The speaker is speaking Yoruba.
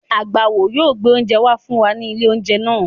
Agbáwo yóò gbé oúnjẹ wá fún wa ní ilé-oúnjẹ náà.